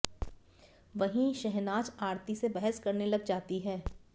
वहीं शहनाज आरती से बहस करने लग जाती हैं